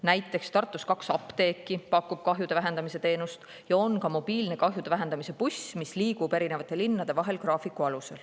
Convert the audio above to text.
Näiteks Tartus pakuvad kaks apteeki kahjude vähendamise teenust ja on mobiilne kahjude vähendamise buss, mis liigub graafiku alusel eri linnade vahel.